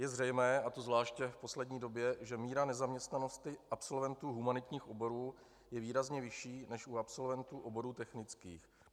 Je zřejmé, a to zvláště v poslední době, že míra nezaměstnanosti absolventů humanitních oborů je výrazně vyšší než u absolventů oborů technických.